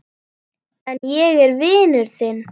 En ég er vinur þinn.